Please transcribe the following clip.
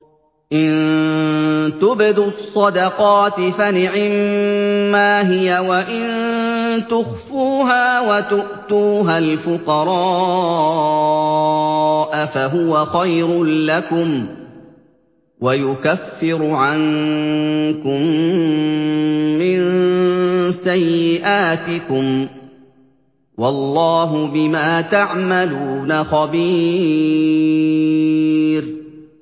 إِن تُبْدُوا الصَّدَقَاتِ فَنِعِمَّا هِيَ ۖ وَإِن تُخْفُوهَا وَتُؤْتُوهَا الْفُقَرَاءَ فَهُوَ خَيْرٌ لَّكُمْ ۚ وَيُكَفِّرُ عَنكُم مِّن سَيِّئَاتِكُمْ ۗ وَاللَّهُ بِمَا تَعْمَلُونَ خَبِيرٌ